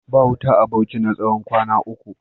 Ba wuta a Bauchi na tsawon kwana uku.